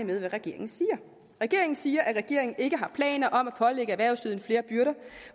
med hvad regeringen siger regeringen siger at regeringen ikke har planer om at pålægge erhvervslivet flere byrder